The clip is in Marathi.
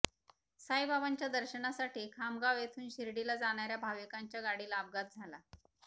साईबाबांच्या दर्शनासाठी खामगाव येथून शिर्डीला जाणाऱ्या भाविकांच्या गाडीला अपघात झाला